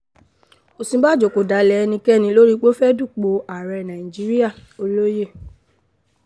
òsínbàjò kò dalẹ̀ ẹnikẹ́ni lórí pé ó fẹ́ẹ̀ dupò ààrẹ nàíjíríà o-olóòye